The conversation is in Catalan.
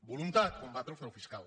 voluntat combatre el frau fiscal